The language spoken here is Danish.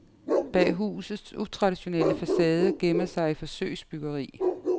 Bag husets utraditionelle facade gemmer sig et forsøgsbyggeri.